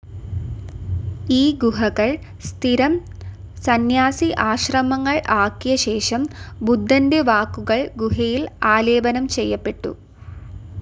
ഈ ഗുഹകൾ സ്ഥിരം സന്യാസി ആശ്രമങ്ങൾ ആക്കിയ ശേഷം, ബുദ്ധൻറെ വാക്കുകൾ ഗുഹയിൽ ആലേപനം ചെയ്യപ്പെട്ടു.